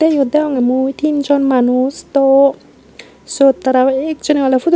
yot degongey mui tinjon manus do siyot tara ekjoney oley fudut.